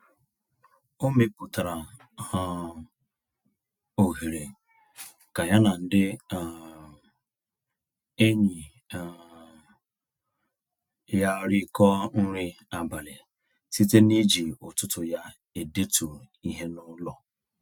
O mepụtara um ohere ka ya na ndị um enyi um ya rịkọ nri abalị site n'iji ụtụtụ ya edetu ihe n'ụlọ.